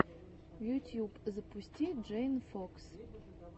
ютьюб запусти джейн фокс